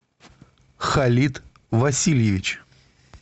халид васильевич